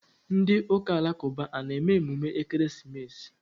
Ndị ụka alakụba a na-eme emume ekeresimesi?